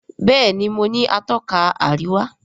Béèni mọ ní Atọ́ka àríwá.